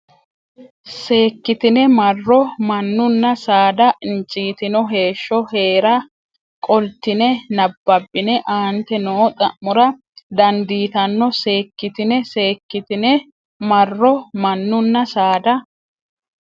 seekkitine marro mannunna saada injiitino heeshsho hee ra qoltine nabbabbine aante noo xa mora dandiitanno seekkitine seekkitine marro mannunna saada.